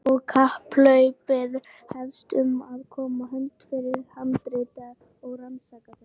Og kapphlaupið hefst um að koma höndum yfir handritin og rannsaka þau.